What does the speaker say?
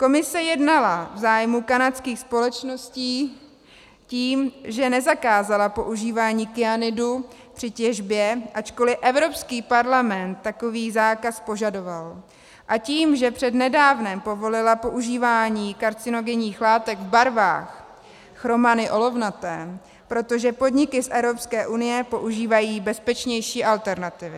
Komise jednala v zájmu kanadských společností tím, že nezakázala používání kyanidu při těžbě, ačkoli Evropský parlament takový zákaz požadoval, a tím, že přednedávnem povolila používání karcinogenních látek v barvách, chromany olovnaté, protože (?) podniky z Evropské unie používají bezpečnější alternativy.